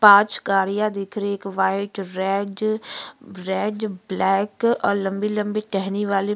पांच गाड़ियाँ दिख रही हैं। एक वाइट रेड रेड ब्लैक और लम्बी लम्बी टहनी वाले --